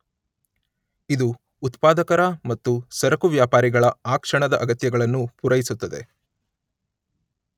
ಇದು ಉತ್ಪಾದಕರ ಮತ್ತು ಸರಕು ವ್ಯಾಪಾರಿಗಳ ಆ ಕ್ಷಣದ ಅಗತ್ಯಗಳನ್ನು ಪುರೈಸುತ್ತದೆ.